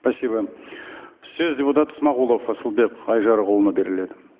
спасибо сөз депутат смағұлов асылбек айжарықұлына беріледі